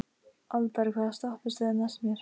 Aldar, hvaða stoppistöð er næst mér?